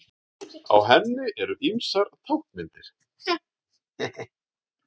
Á henni eru ýmsar táknmyndir.